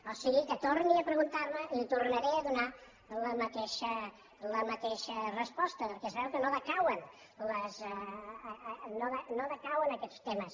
o sigui que torni a preguntar m’ho i li tornaré a donar la mateixa resposta perquè es veu que no decauen aquests temes